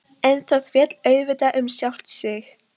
En það féll auðvitað um sjálft sig.